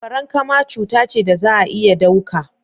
farankama cuta ce da za a iya dauka.